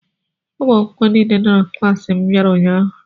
Ụmụ akwụkwọ niile nọ na klaasị m bịara ụnyaahụ.